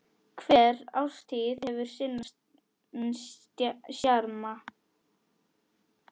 Hver árstíð hefur sinn sjarma.